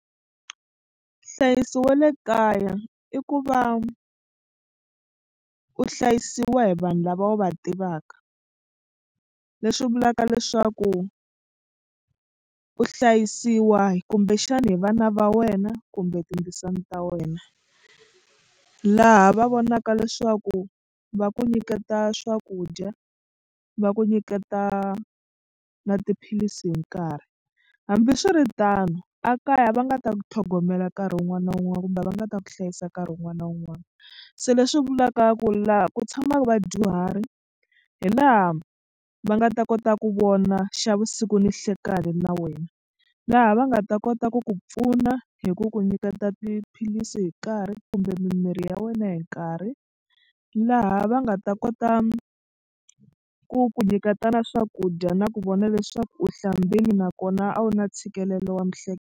Nhlayiso wa le kaya i ku va u hlayisiwa hi vanhu lava u va tivaka leswi vulaka leswaku u hlayisiwa kumbexani hi vana va wena kumbe tindzisana ta wena. Laha va vonaka leswaku va ku nyiketa swakudya va ku nyiketa na tiphilisi hi nkarhi hambiswiritano a kaya va nga ta ku tlhogomela nkarhi wun'wana na wun'wana kumbe va nga ta ku hlayisa nkarhi wun'wana na wun'wana se leswi vulaka ku laha ku tshamaka vadyuhari hi laha va nga ta kota ku vona xa vusiku ni nhlekani na wena. Laha va nga ta kota ku ku pfuna hi ku ku nyiketa tiphilisi hi nkarhi kumbe mimirhi ya wena hi nkarhi laha va nga ta kota ku ku nyiketa na swakudya na ku vona leswaku u hlambile nakona a wu na ntshikelelo wa .